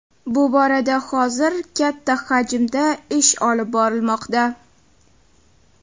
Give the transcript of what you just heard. Bu borada hozir katta hajmda ish olib borilmoqda.